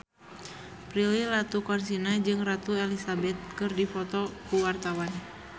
Prilly Latuconsina jeung Ratu Elizabeth keur dipoto ku wartawan